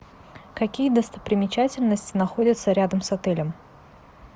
какие достопримечательности находятся рядом с отелем